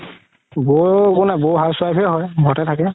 বৌ একো নাই বৌ housewife হে হয় ঘৰতে থাকে